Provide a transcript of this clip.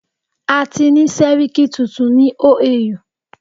A ti ni sẹ́ríkí tuntun ni OAU.